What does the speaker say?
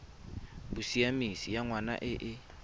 bosiamisi ya ngwana e e